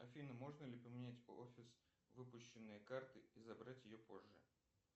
афина можно ли поменять офис выпущенной карты и забрать ее позже